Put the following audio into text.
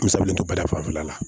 N salen to bada fila la